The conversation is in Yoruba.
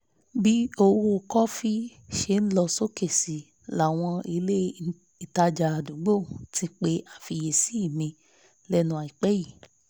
bí owó kọfí ṣe lọ sókè sí láwọn ilé ìtajà àdúgbò ti pe àfiyèsí mi lẹ́nu àìpẹ́ yìí